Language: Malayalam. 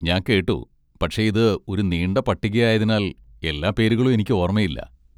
ഞാൻ കേട്ടു, പക്ഷേ ഇത് ഒരു നീണ്ട പട്ടികയായതിനാൽ, എല്ലാ പേരുകളും എനിക്ക് ഓർമ്മയില്ല.